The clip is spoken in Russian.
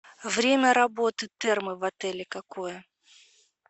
время работы термы в отеле какое